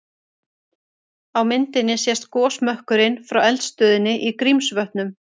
Á myndinni sést gosmökkurinn frá eldstöðinni í Grímsvötnum.